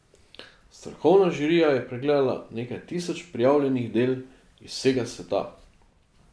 Strokovna žirija je pregledala nekaj tisoč prijavljenih del iz vsega sveta.